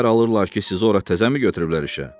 Xəbər alırlar ki, sizi ora təzəmi götürüblər işə?